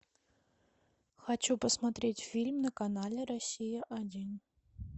хочу посмотреть фильм на канале россия один